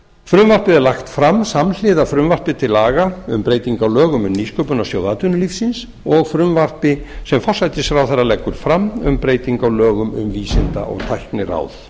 frumvarpið er lagt fram samhliða frumvarpi til laga um breytingu á lögum um nýsköpunarsjóð atvinnulífsins og frumvarpi sem forsætisráðherra leggur fram um bretyingu á lögum um vísinda og tækniráð